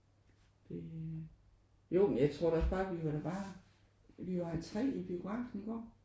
Det jo men jeg tror da også bare vi var da bare vi var 3 i biografen i går